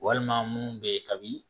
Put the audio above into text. Walima mun bɛ ye kabi